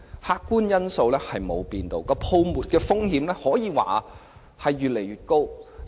客觀因素沒有改變，泡沫風險可說越來越高。